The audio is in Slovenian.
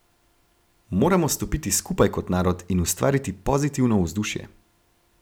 Moramo stopiti skupaj kot narod in ustvariti pozitivno vzdušje.